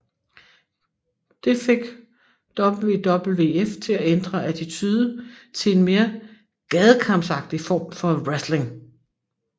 Det fik WWF til at ændre attitude til en mere gadekampsagtig form for wrestling